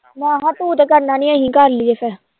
ਮੈਂ ਕਿਹਾ ਤੂੰ ਤੇ ਕਰਨਾ ਨੀ ਅਸੀਂ ਕਰ ਲਈਏ ਫਿਰ